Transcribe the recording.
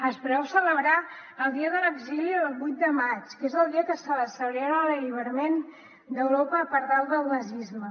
es preveu celebrar el dia de l’exili el vuit de maig que és el dia que se celebra l’alliberament d’europa del nazisme